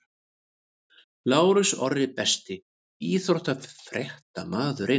Lárus Orri Besti íþróttafréttamaðurinn?